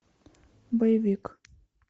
боевик